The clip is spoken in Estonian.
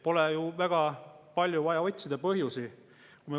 Pole ju väga palju vaja põhjusi otsida.